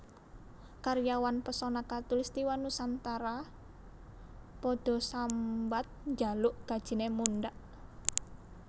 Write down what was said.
Karyawan Pesona Khatulistiwa Nusantara podo sambat njaluk gajine mundhak